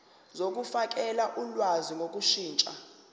zokufakela ulwazi ngokushintsha